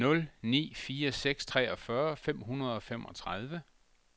nul ni fire seks treogfyrre fem hundrede og femogtredive